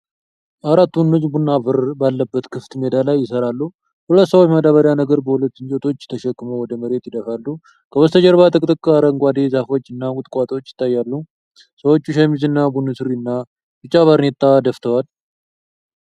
አራት ወንዶች ቡናማ አፈር ባለበት ክፍት ሜዳ ላይ ይሰራሉ። ሁለት ሰዎች ማዳበሪያ ነገር በሁለት እንጨቶች ተሸክመው ወደ መሬት ይደፋሉ። ከበስተጀርባ ጥቅጥቅ አረንጓዴ ዛፎች እና ቁጥቋጦዎች ይታያል። ሰዎቹ ሸሚዝ እና ቡኒ ሱሪና ቢጫ ባርኔጣ ደፍተዋል።